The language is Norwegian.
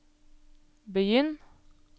begynn